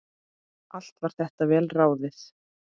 Allt var þetta vel ráðið.